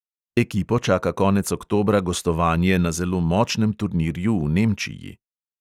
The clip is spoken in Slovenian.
Ekipo čaka konec oktobra gostovanje na zelo močnem turnirju v nemčiji.